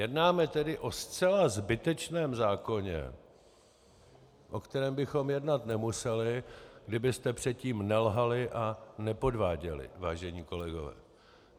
Jednáme tedy o zcela zbytečném zákoně, o kterém bychom jednat nemuseli, kdybyste předtím nelhali a nepodváděli, vážení kolegové.